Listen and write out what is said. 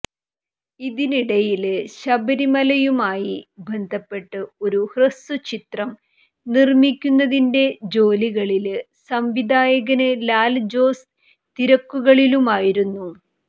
ഇതിനിടയില് ശബരിമലയുമായി ബന്ധപ്പെട്ട് ഒരു ഹ്രസ്വചിത്രം നിര്മ്മിക്കുന്നതിന്റെ ജോലികളില് സംവിധായകന് ലാല്ജോസ് തിരക്കുകളിലുമായിരുന്നു